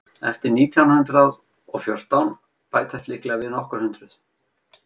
eftir nítján hundrað og fjórtán bætast líklega við nokkur hundruð